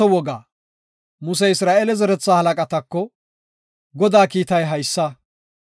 Musey Isra7eele zeretha halaqatako, “Godaa kiitay haysa;